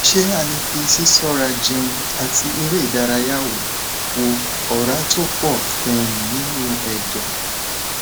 ṣé a lè fi sisora jẹún ati ere idaraya wo wo ora to po um ninu edo